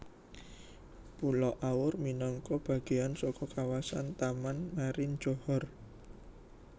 Pulo Aur minangka bagéan saka kawasan Taman Marin Johor